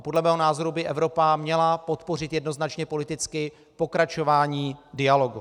A podle mého názoru by Evropa měla podpořit jednoznačně politicky pokračování dialogu.